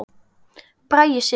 Bragi Sig.